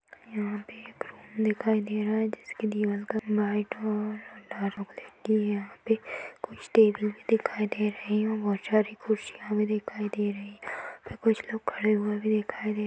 यहाँ भी और कुछ लोग खड़े हुए बी दिखाई दे रह हैं।